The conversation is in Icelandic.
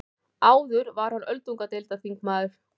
Áður var hann öldungadeildarþingmaður